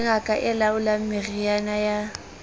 ngaka e laolang meriana ya